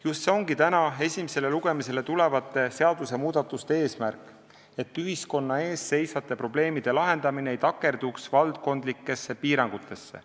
Just see ongi täna esimesele lugemisele tulevate seadusmuudatuste eesmärk, et ühiskonna ees seisvate probleemide lahendamine ei takerduks valdkondlikesse piirangutesse.